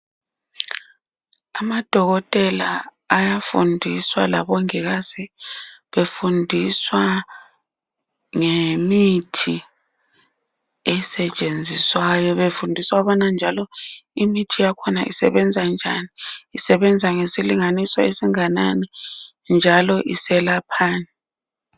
Amadokotela ayafundiswa labo mongikazi .Befundiswa ngemithi esetshenziswayo .Befundiswa ukubana njalo imithi yakhona isebenza njani. Isebenza ngesilinganiso esinganani njalo iselaphani .